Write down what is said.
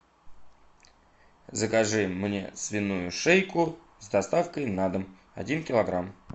закажи мне свиную шейку с доставкой на дом один килограмм